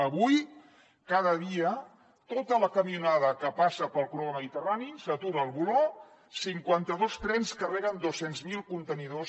avui cada dia tota la camionada que passa pel corredor mediterrani s’atura al voló cinquanta dos trens carreguen dos cents miler contenidors